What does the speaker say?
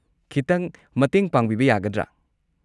ꯈꯤꯇꯪ ꯃꯇꯦꯡ ꯄꯥꯡꯕꯤꯕ ꯌꯥꯒꯗ꯭ꯔꯥ?